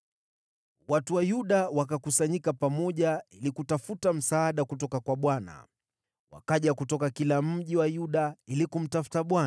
Watu wa Yuda wakakusanyika pamoja ili kutafuta msaada kutoka kwa Bwana . Wakaja kutoka kila mji wa Yuda ili kumtafuta.